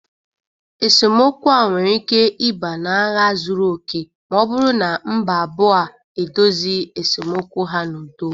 Esemokwu a nwere ike ịba n'agha zuru oke ma ọ bụrụ na mba abụọ a edozi esemokwu ha n'udo.